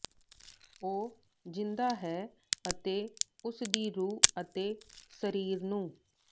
ਉਹ ਜਿੰਦਾ ਹੈ ਅਤੇ ਉਸ ਦੀ ਰੂਹ ਅਤੇ ਸਰੀਰ ਨੂੰ